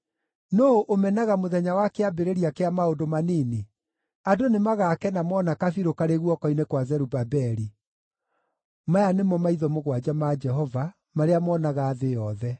“Nũũ ũmenaga mũthenya wa kĩambĩrĩria kĩa maũndũ manini? Andũ nĩmagakena moona kabirũ karĩ guoko-inĩ gwa Zerubabeli. (Maya nĩmo maitho mũgwanja ma Jehova, marĩa moonaga thĩ yothe.)”